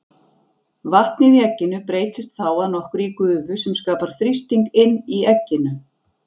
Vatnið í egginu breytist þá að nokkru í gufu sem skapar þrýsting inni í egginu.